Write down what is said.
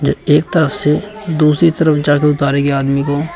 ये एक तरफ से दूसरी तरफ जाके उतारेगी आदमी को।